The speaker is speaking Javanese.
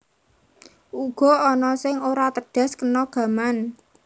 Uga ana sing ora tedhas kena gaman